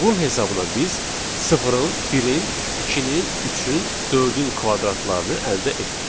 Bunun hesabına biz sıfırın, birin, ikinin, üçün, dördün kvadratlarını əldə etdik.